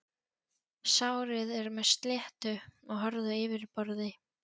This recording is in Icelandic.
Sárið er með sléttu og hörðu yfirborði.